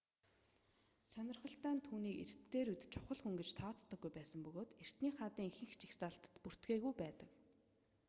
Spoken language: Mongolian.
сонирхолтой нь түүнийг эрт дээр үед чухал хүн гэж тооцдоггүй байсан бөгөөд эртний хаадын ихэнх жагсаалтад бүртгээгүй байдаг